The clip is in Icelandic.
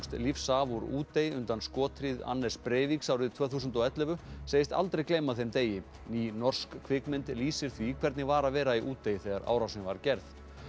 lífs af úr Útey undan skothríð Anders Breiviks árið tvö þúsund og ellefu segist aldrei gleyma þeim degi ný norsk kvikmynd lýsir því hvernig var að vera í Útey þegar árásin var gerð